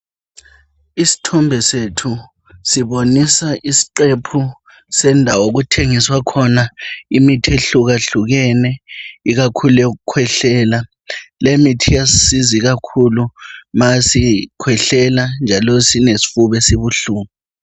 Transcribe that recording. Isithombe sethu sibonisa isiqephu sendawo okuthengiswa khona imithi, ehlukahlukeneyo. Ikakhulu yokukhwehlela. Lemithi iyasisiza ikakhulu nxa sikhwehlela njalo silesifuba esibuhlungu.